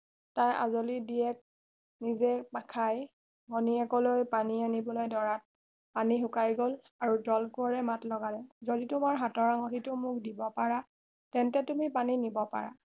তাৰ আজলি দিয়েক নিজেই নাখাই ভনীয়েকলৈ পানী আনিবলৈ ধৰাত পানী শুকাই গল আৰু জল কোঁৱৰে মাত লগালে যদি তোমাৰ হাতৰ আঙঠিটো মোক দিব পাৰা তেন্তে তুমি পানী নিব পাৰা